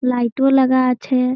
light ও লাগা আছে-এ--